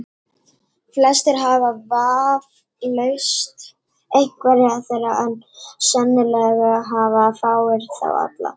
Flestir hafa vafalaust einhverja þeirra, en sennilega hafa fáir þá alla.